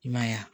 I m'a ye wa